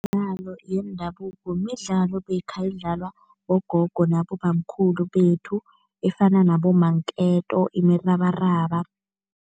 Imidlalo yendabuko midlalo beyikha idlalwa bogogo nabobamkhulu bethu, efana nabomanketo, imirabaraba.